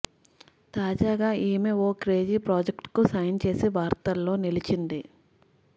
తాజాగా ఈమె ఓ క్రేజీ ప్రాజెక్ట్ కు సైన్ చేసి వార్తల్లో నిలిచింది